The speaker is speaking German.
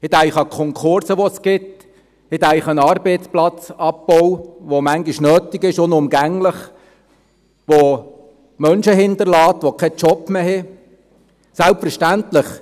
Ich denke an die Konkurse, die es gibt, ich denke an den Arbeitsplatzabbau, der manchmal unumgänglich ist, der Menschen hinterlässt, die keinen Job mehr haben.